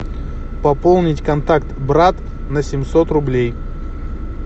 пополнить контакт брат на семьсот рублей